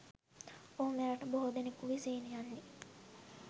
ඔහු මෙරට බොහෝ දෙනකුගේ සිහිනයන්හි